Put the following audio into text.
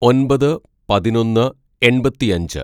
"ഒന്‍പത് പതിനൊന്ന് എണ്‍പത്തിയഞ്ച്‌